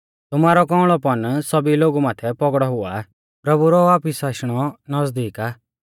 तुमारौ कौंउल़ौपन सौभी लोगु माथै पौगड़ौ हुआ प्रभु रौ वापिस आशणौ नज़दीक आ